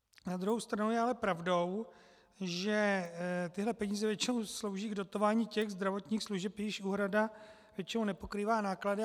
Na druhou stranu je ale pravdou, že tyhle peníze většinou slouží k dotování těch zdravotních služeb, jejichž úhrada většinou nepokrývá náklady.